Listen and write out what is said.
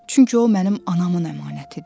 Çünki o mənim anamın əmanətidir.